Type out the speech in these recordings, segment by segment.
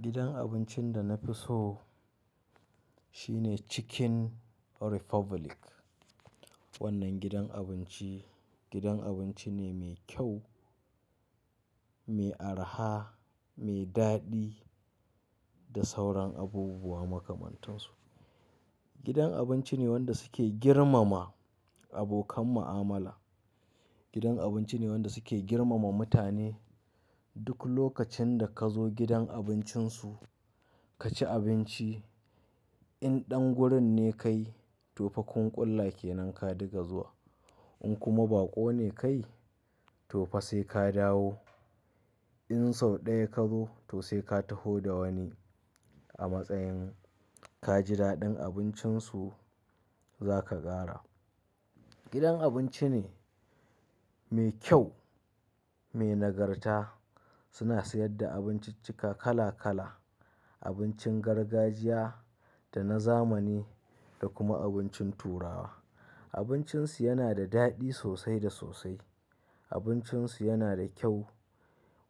Gidan abincin da na fi so shine Chicken Republic. Wannan gidan abinci, gidan abinci ne mai kyau, mai araha, mai daɗi da sauran abubuwa makamantan su. Gidan abinci ne wanda suke girmama abokan mu'amala. Gidan abinci ne wanda suke girmama mutane. Duk lokacin da ka zo gidan abincin su ka ci abinci, in ɗan gurin ne kai to fa kunƙulla kenan ka diga zuwa. In kuma ba ko ne kai to fa sai ka dawo. In sau ɗaya ka zo to sai ka taho da wani. A matsayin ka ji daɗin abincin su za ka ƙara. Gidan abinci ne mai kyau, mai nagarta. Suna sayar da abinciccika kala kala, abincin gargajiya da na zamani da kuma abincin turawa. Abincin su yana da daɗi sosai da sosai. Abincin su yana da kyau.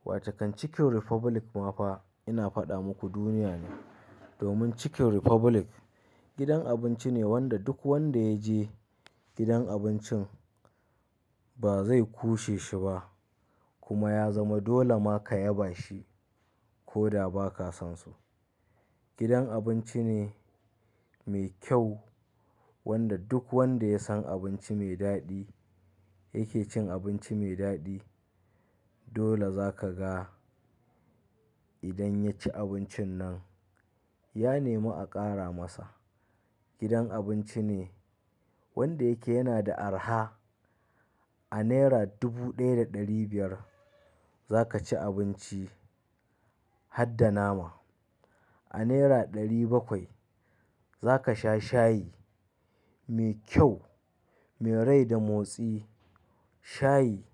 Wace kan Chicken Republic ma fa ina faɗa muku duniya ne. Domin Chicken Republic gidan abinci ne wanda duk wanda ya je gidan abincin ba zai ƙushe shi ba kuma ya zama dole ma ka yaba shi ko da ba ka san su. Gidan abinci ne mai kyau wanda duk wanda ya san abinci mai daɗi yake cin abinci mai daɗi. Dole za ka ga idan ya ci abincin nan ya nemi a ƙara masa. Gidan abinci ne wanda yake yana da araha. A naira dubu ɗaya da ɗari biyar za ka ci abinci hadda nama. A naira ɗari bakwai za ka sha shayi mai kyau, mai rai da motsi. Shayi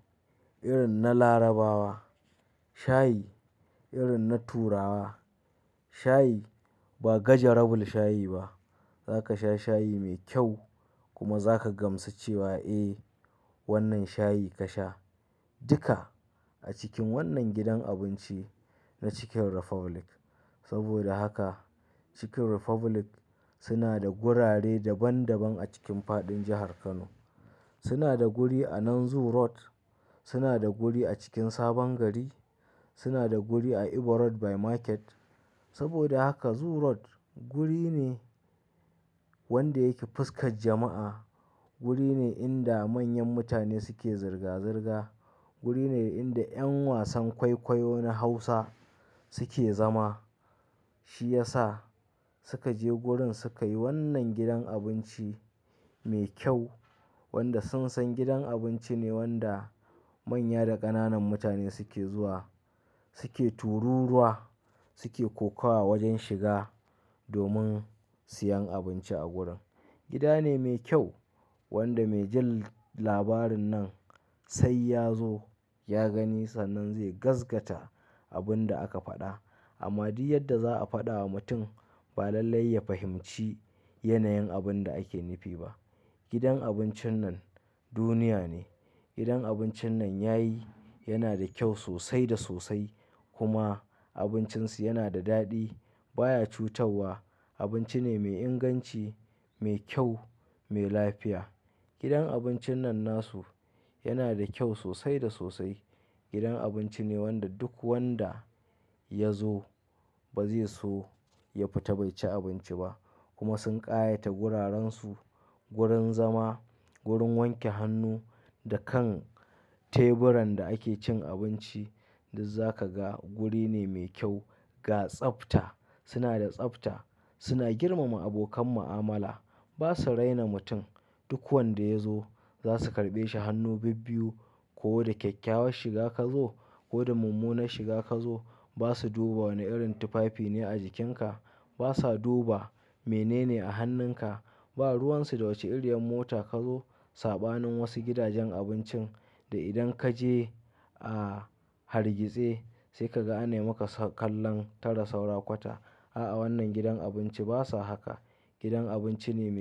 irin na Larabawa, shayi irin na Turawa, shayi ba gaja rabul shayi ba. Za ka sha shayi mai kyau kuma za ka gamsu cewa "Eh wannan shayi ka sha." Duka a cikin wannan gidan abinci na Chicken Republic. Saboda haka Chicken Republic suna da gurare daban daban a cikin fadin jahar Kano. Suna da guri a Nan zoo Road, suna da guri a cikin Sabon Gari, suna da guri a Ibo Road by Market. Saboda haka Zoo Road guri ne wanda yake fuskar jama'a. Guri ne inda manyan mutane suke zirga-zirga. Guri ne inda ƴan wasan kwaikwayo na Hausa suke zama. Shi ya sa suka je gurin suka yi wannan gidan abinci mai kyau wanda sun san gidan abinci ne wanda manya da ƙananan mutane suke zuwa suke tururuwa suke kokowa wajen shiga domin siyan abinci a gurin. Gida ne mai kyau wanda mai jin labarin nan sai ya zo ya gani sannan zai gaskata abin da aka faɗa. Amma duk yadda za a faɗa wa mutum ba lallai ya fahimci yanayin abin da ake nufi ba. Gidan abincin nan duniya ne. Gidan abincin nan yayi yana da kyau sosai da sosai kuma abincin su yana da daɗi baya cutawwa. Abinci ne mai inganci, mai kyau, mai lafiya. Gidan abincin nan nasu yana da kyau sosai da sosai. Gidan abinci ne wanda duk wanda ya zo ba zai so ya fita bai ci abinci ba kuma sun ƙayata guraren su, gurin zama, gurin wanke hannu da kan teburan da ake cin abinci. Duk za ka ga guri ne mai kyau, ga tsafta. Suna da tsafta. Suna girmama abokan mu'amala. Ba su raina mutum. Duk wanda ya zo za su karɓe shi hannu bibbiyu ko da kyakkyawar shiga ka zo ko da mummunar shiga ka zo. Ba su duba wane irin tufafi ne a jikin ka. Ba sa duba mene ne a hannun ka. Ba ruwan su da wace iriyar mota ka zo. Saɓanin wasu gidajen abincin da idan ka je a hargitse sai kaga anai maka kallon tara saura kwata. A'a wannan gidan abinci ba sa haka. Gidan abinci ne mai.